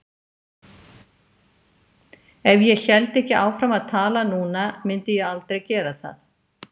Ef ég héldi ekki áfram að tala núna mundi ég aldrei gera það.